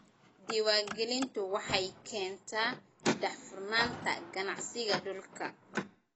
Diiwaangelintu waxay keentaa daahfurnaanta ganacsiga dhulka.